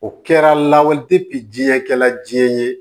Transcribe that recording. O kɛra lawale diɲɛ kɛla diɲɛ ye